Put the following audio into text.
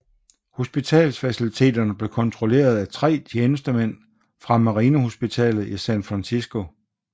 Hospitalsfaciliteterne blev kontrolleret af tre tjenestemænd fra Marinehospitalet i San Francisco